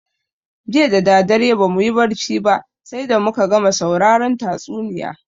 Jiya dadadare bamuyi barci ba sai da muka gama sauraron tatsuniya